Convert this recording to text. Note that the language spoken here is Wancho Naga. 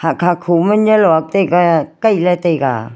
haa khaa khomunye luak taiga kai le taiga.